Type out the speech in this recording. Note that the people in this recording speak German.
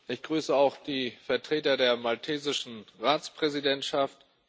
Ich grüße auch die Vertreter der maltesischen Ratspräsidentschaft.